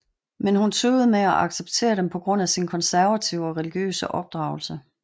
Men hun tøvede med at acceptere dem på grund af sin konservative og religiøse opdragelse